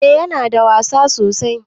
Eh Yana da wasa sosai.